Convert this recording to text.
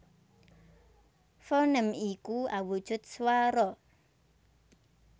Fonèm iku awujud swara